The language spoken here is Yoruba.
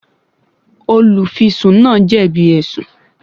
Olùfisùn náà jẹ̀bi ẹ̀sùn